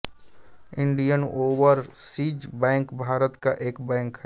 Indian Overseas Bank Bharat का एक bank है